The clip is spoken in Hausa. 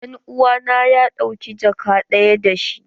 Dan uwa na ya ɗauka jakka daya da shi.